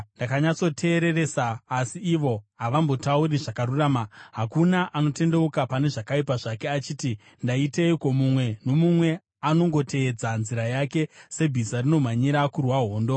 Ndakanyatsoteereresa, asi ivo havambotauri zvakarurama. Hakuna anotendeuka pane zvakaipa zvake achiti, “Ndaiteiko?” Mumwe nomumwe anongotevedza nzira yake sebhiza rinomhanyira kurwa hondo.